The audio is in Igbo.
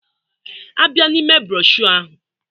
A bịa n'ime broshuọ ahụ